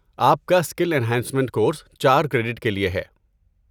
آپ کا skill and enhancement course چار کریڈٹ کے لیے ہے۔